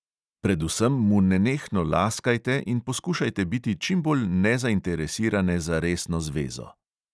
Predvsem mu nenehno laskajte in poskušajte biti čimbolj nezainteresirane za resno zvezo.